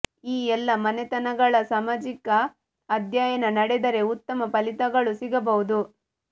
ಈ ಎಲ್ಲ ಮನೆತನಗಳ ಸಮಾಜಿಕ ಅಧ್ಯಯನ ನಡೆದರೆ ಉತ್ತಮ ಫಲಿತಗಳು ಸಿಗಬಹುದು